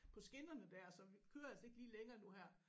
På skinnerne dér så vi kører altså ikke lige længere nu her